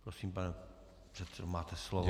Prosím, pane předsedo, máte slovo.